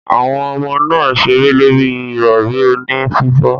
Awon omo naa n sere lori irori oni fifo.